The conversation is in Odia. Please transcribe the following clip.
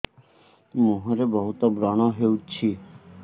ମୁଁହରେ ବହୁତ ବ୍ରଣ ହଉଛି